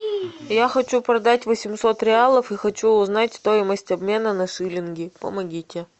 я хочу продать восемьсот реалов и хочу узнать стоимость обмена на шиллинги помогите